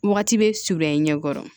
Wagati bɛ surunya i ɲɛ kɔrɔ